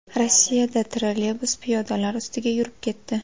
Rossiyada trolleybus piyodalar ustiga yurib ketdi.